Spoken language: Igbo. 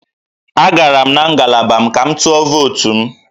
Agara m na ngalaba m ka m tụọ votu m